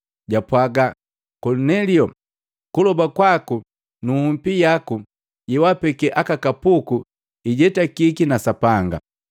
japwaga, ‘Kolinelio! Kuloba kwaku na nhupi yaku yewapeke aka kapuku ijetakiki na Sapanga.